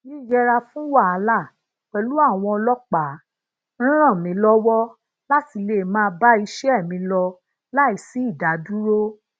yiyera fún wahala pèlú àwọn ọlópàá n ran mi lowo lati lè máa bá iṣé mi lọ láìsi idadúró